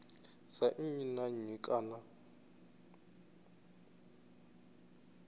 dza nnyi na nnyi kana